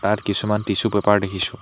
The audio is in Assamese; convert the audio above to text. ইয়াত কিছুমান টিচু পেপাৰ দেখিছোঁ।